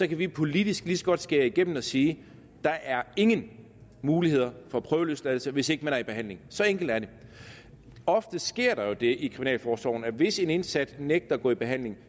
vi politisk lige så godt skære igennem og sige der er ingen mulighed for prøveløsladelse hvis man ikke er i behandling så enkelt er det ofte sker der jo det i kriminalforsorgen at hvis en indsat nægter at gå i behandling